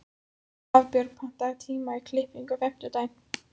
Hafbjörg, pantaðu tíma í klippingu á fimmtudaginn.